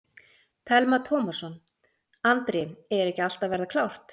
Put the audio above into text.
Telma Tómasson: Andri, er ekki allt að verða klárt?